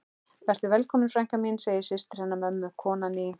Vertu velkomin frænka mín, segir systir hennar mömmu, konan í